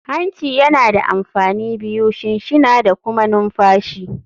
Hancin yana da amfani biyu, shinshina da kuma numfashi.